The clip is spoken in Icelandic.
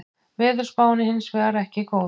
Veðurspáin er hins vegar ekki góð